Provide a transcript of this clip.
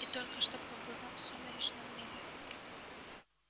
и только что побывав в сумеречном мире